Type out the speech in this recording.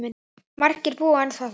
Margir búa ennþá þar.